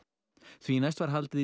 því næst var haldið í